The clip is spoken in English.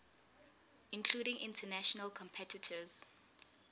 including international competitors